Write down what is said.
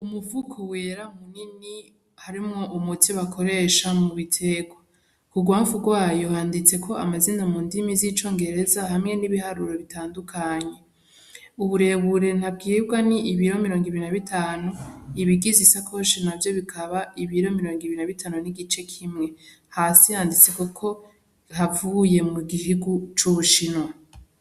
Umufuko wera munini harimwo umuti bakoresha mubiterwa. Kurwamfu rwayo handitseko amazina mundimi z'icongereza hamwe n'ibiharuro bitandukanye. Uburebure ntabwirwa ni ibiro mirongo ibiri na bitanu, ibigize isakoshi navyo bikaba ibiro mirongo ibiri na bitanu n'igice kimwe. Hasi handitseko ko havuye mugihugu c'ubushinwa.